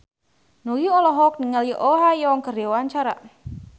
Nugie olohok ningali Oh Ha Young keur diwawancara